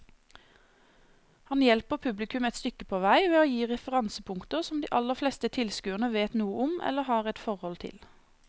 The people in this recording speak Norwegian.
Han hjelper publikum et stykke på vei ved å gi referansepunkter som de aller fleste tilskuere vet noe om eller har et forhold til.